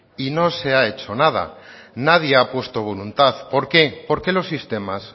y no se ha hecho nada nadie ha puesto voluntad por qué porque los sistemas